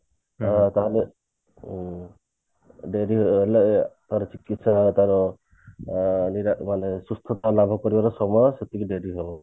ତାହେଲେ ଉଁ ସେରି ହେଲେ ତାର ଚିକିତ୍ସା ତାର ଅ ମାନେ ସୁସ୍ଥତା ଲାଭ କରିବାର ସମୟ ସେତିକି ଡେରି ହୁଏ